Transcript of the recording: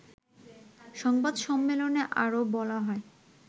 সংবাদ সম্মেলনে আরও বলা হয়